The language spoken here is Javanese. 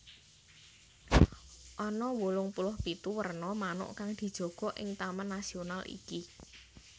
Ana wolung puluh pitu werna manuk kang dijaga ing taman nasional iki